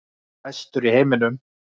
Bestur í heiminum.